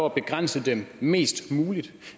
at begrænse dem mest muligt